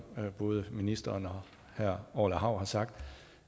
både ministeren og herre orla hav har sagt